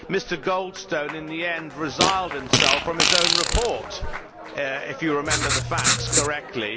Mr Goldstone in the end resiled from his own report, if you remember the facts correctly.